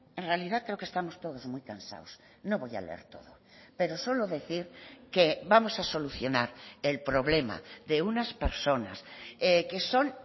en realidad creo que estamos todos muy cansados no voy a leer todo pero solo decir que vamos a solucionar el problema de unas personas que son